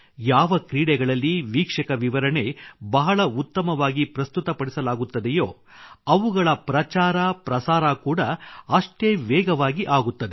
ಯಾವ ಕ್ರೀಡೆಗಳಲ್ಲಿ ವೀಕ್ಷಕ ವಿವರಣೆ ಬಹಳ ಉತ್ತಮವಾಗಿ ಪ್ರಸ್ತುತಪಡಿಸಲಾಗುತ್ತದೆಯೋ ಅವುಗಳ ಪ್ರಚಾರಪ್ರಸಾರ ಕೂಡಾ ಅಷ್ಟೇ ವೇಗವಾಗಿ ಆಗುತ್ತದೆ